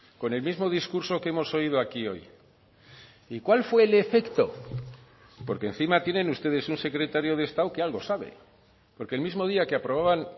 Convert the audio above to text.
con el mismo discurso que hemos oído aquí hoy y cuál fue el efecto porque encima tienen ustedes un secretario de estado que algo sabe porque el mismo día que aprobaban